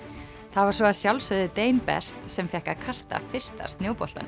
það var svo að sjálfsögðu best sem fékk að kasta fyrsta